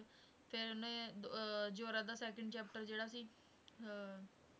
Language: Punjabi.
ਫਿਰ ਉਹਨੇ ਅਹ ਜ਼ੋਰਾ ਦਾ second chapter ਜਿਹੜਾ ਸੀ ਅਹ